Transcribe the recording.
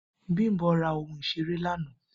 Bimbo ra ohun isere lana